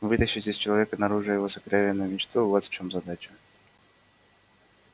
вытащить из человека наружу его сокровенную мечту вот в чём задача